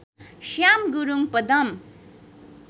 Shyam Gurung Padam